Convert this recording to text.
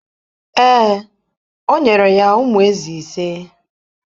Ee, o nyere ya ụmụ ézì ise.